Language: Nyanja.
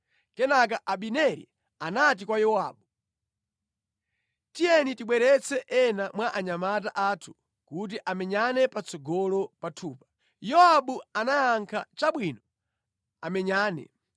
Kenaka Abineri anati kwa Yowabu, “Tiye tibweretse ena mwa anyamata athu kuti amenyane patsogolo pathupa.” Yowabu anayankha, “Chabwino, amenyane.”